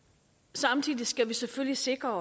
samtidig skal vi selvfølgelig sikre